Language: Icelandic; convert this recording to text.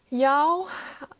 já